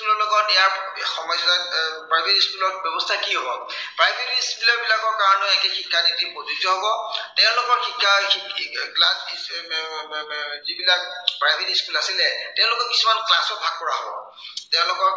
সমস্য়া আহ private school ৰ ব্য়ৱস্থা কি হব। private school ৰ student বিলাকৰ কাৰনে একেই শিক্ষানীতি যি প্ৰযোজ্য় হব। তেওঁলোকৰ শিক্ষাৰ এৰ যি বিলাক private school আছিলে, তেওঁলোকক কিছুমানত class ত ভাগ কৰা হব।